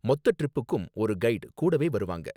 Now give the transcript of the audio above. மொத்த ட்ரிப்புக்கும் ஒரு கைடு கூடவே வருவாங்க